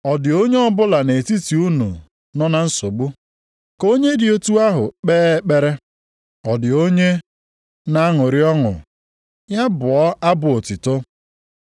Ọ dị onye ọbụla nʼetiti unu nọ na nsogbu? Ka onye dị otu ahụ kpee ekpere. Ọ dị onye na-aṅụrị ọṅụ? Ya bụọ abụ otuto.